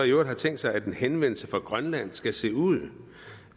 i øvrigt har tænkt sig at en henvendelse fra grønland skal se ud